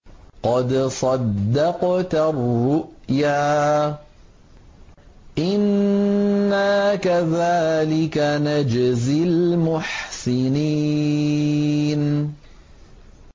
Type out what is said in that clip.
قَدْ صَدَّقْتَ الرُّؤْيَا ۚ إِنَّا كَذَٰلِكَ نَجْزِي الْمُحْسِنِينَ